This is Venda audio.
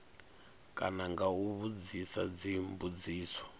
kana nga u vhudzisa dzimbudziso